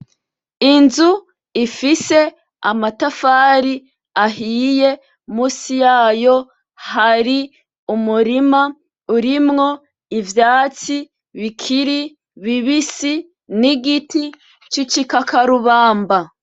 Inzu ifise amatafari ahiye munsi yayo hari umurima urimwo ivyatsi bikiri bibisi n'igiti cigi kakarubamba.